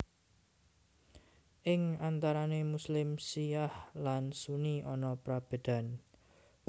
Ing antarané Muslim Syi ah lan Sunni ana prabédan